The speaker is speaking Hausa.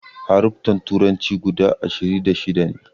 Haruffan turanci guda ashiri da shida ne